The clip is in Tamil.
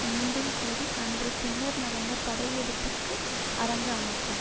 மீண்டும் கூறி அன்று பின்னர் நடந்த படையெடுப்பிற்கு அரங்கு அமைத்தார்